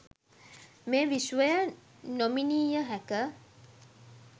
මේ විශ්වය නොමිණීයහැකි